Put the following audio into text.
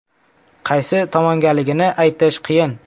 Qaysi tomongaligini aytish qiyin.